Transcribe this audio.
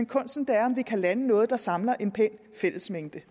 kunsten er om vi kan lande noget der samler en pæn fællesmængde